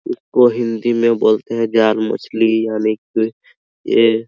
इसको हिंदी में बोलते हैं ज्ञान मछली यानी की ये --